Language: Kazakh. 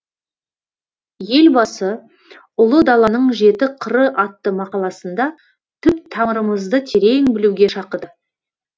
елбасы ұлы даланың жеті қыры атты мақаласында түп тамырымызды терең білуге шақырды